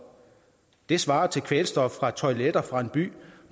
det svarer til kvælstof fra toiletter fra en by